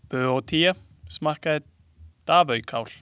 Böótía smakkaði davöjkál.